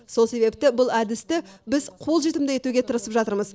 сол себепті бұл әдісті біз қолжетімді етуге тырысып жатырмыз